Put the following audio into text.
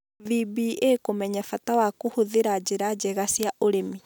VBA Kũmenya bata wa kũhũthĩra njĩra njega cia ũrĩmi.